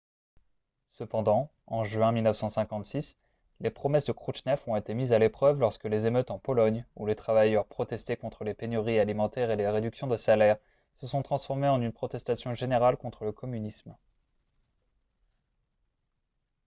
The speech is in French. cependant en juin 1956 les promesses de khrouchtchev ont été mises à l'épreuve lorsque les émeutes en pologne où les travailleurs protestaient contre les pénuries alimentaires et les réductions de salaires se sont transformées en une protestation générale contre le communisme